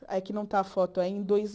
É que não está a foto aí. Em dois